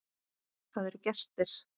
Það eru gestir.